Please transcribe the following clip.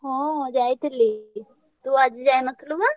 ହଁ ~ଯାଇ ~ଥିଲି ତୁ ଆଜି ଯାଇନଥିଲୁ ବା।